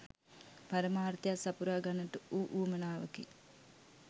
පරමාර්ථයක් සපුරා ගන්නට වූ උවමනාවකි.